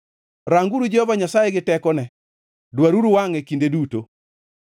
Ranguru Jehova Nyasaye gi tekone; dwaruru wangʼe kinde duto.